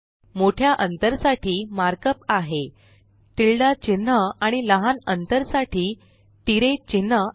मोठ्या अंतर साठी मार्क अप आहे टिल्डे चिन्ह आणि लहान अंतर साठी तिराय चिन्ह आहे